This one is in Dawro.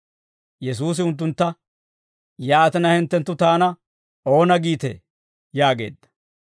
Yesuusi unttuntta, «Yaatina hinttenttu taana oona giitee?» yaageedda.